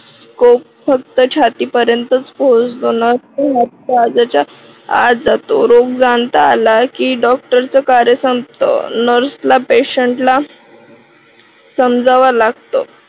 तो फक्त छाती पर्यंत पोचतो ना काळजाच्या आत जातो रोगांत आला की डॉक्टर च कार्य संपत. nurse ला patient ला समजवायला लागत.